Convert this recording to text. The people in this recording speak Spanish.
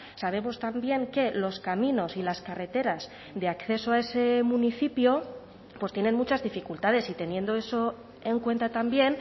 sabemos también que los caminos y las carreteras de acceso a ese municipio pues tienen muchas dificultades y teniendo eso en cuenta también